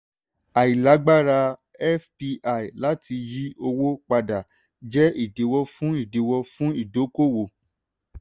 àìlágbára fpi láti yí owó padà jẹ́ ìdíwó fún ìdíwó fún ìdókòwò.